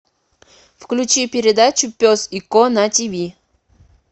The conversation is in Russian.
включи передачу пес и ко на тиви